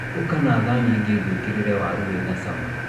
Ũka na thani ĩngĩ ngũĩkĩrĩre wari wĩ na cama